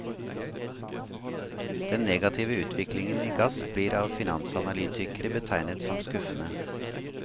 Den negative utviklingen i gass blir av finansanalytikere betegnet som skuffende.